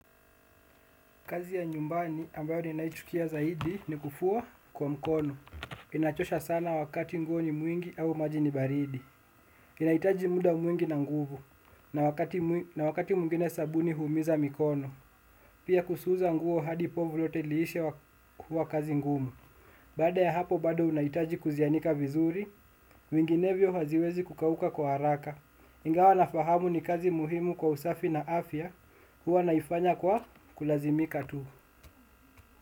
Kazi ya nyumbani ambayo ninaichukia zaidi ni kufua kwa mkono. Inachosha sana wakati nguo ni mwingi au maji ni baridi. Inahitaji muda mwingi na nguvu na wakati mwingine sabuni huumiza mkono. Pia kusuza nguo hadi povu lote liishe huwa kazi ngumu. Baada ya hapo bado unahitaji kuzianika vizuri, vinginevyo haziwezi kukauka kwa haraka. Ingawa nafahamu ni kazi muhimu kwa usafi na afya huwa naifanya kwa kulazimika tu.